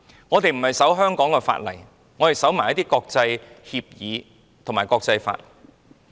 我們不單遵守香港法例，也遵守國際協議及國際法。